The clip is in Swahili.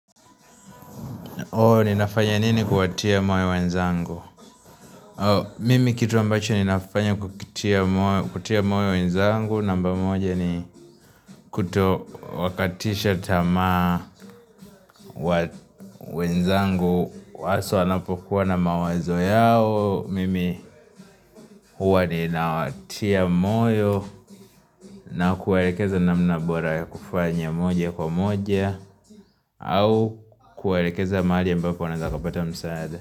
Ninafanya nini kuwatia moyo wenzangu? Mimi kitu ambacho ninafanya kutia moyo wenzangu. Namba moja ni kuto wakatisha tama wenzangu. Waso anapokuwa na mawazo yao. Mimi huwa ninawatia moyo na kuwaerekeza namna bora ya kufanya moja kwa moja. Au kuwaerekeza mahali ambapo wanaeza kapata msaada.